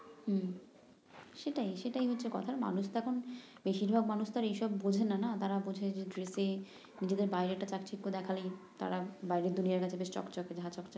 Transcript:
হম সেটাই সেটাই হচ্ছে কথা মানুষ তো এখন বেশির ভাগ মানুষ এইসব বোঝে না তারা বোঝে যে ড্রেসে নিজেদের বাহিরেরটা চাকচিক্য দেখালে তারা বাহিরের দুনিয়া নাকি বেশ চকচকে ঝাচকচকে হম